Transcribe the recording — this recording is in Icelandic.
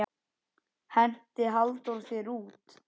Henti Halldór þér út?